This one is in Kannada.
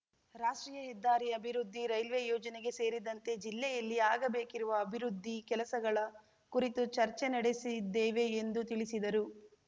ರಾಷ್ಟ್ರೀಯ ಹೆದ್ದಾರಿ ಅಭಿವೃದ್ದಿ ರೈಲ್ವೇ ಯೋಜನೆಗೆ ಸೇರಿದಂತೆ ಜಿಲ್ಲೆಯಲ್ಲಿ ಆಗಬೇಕಿರುವ ಅಭಿವೃದ್ಧಿ ಕೆಲಸಗಳ ಕುರಿತು ಚರ್ಚೆ ನಡೆಸಿದ್ದೇವೆ ಎಂದು ತಿಳಿಸಿದರು